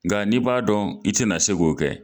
Nka n'i b'a dɔn i tɛna se k'o kɛ.